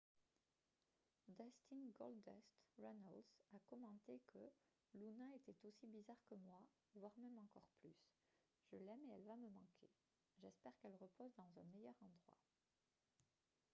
dustin « goldust » runnels a commenté que « luna était aussi bizarre que moi voire même encore plus je l'aime et elle va me manquer j'espère qu'elle repose dans un meilleur endroit. »